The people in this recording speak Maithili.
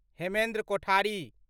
हेमेन्द्र कोठरी